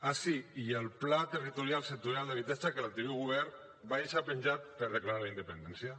ah sí i el pla territorial sectorial d’habitatge que l’anterior govern va deixar penjat per declarar la independència